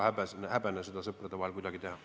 Sõprade vahel pole seda häbi teha.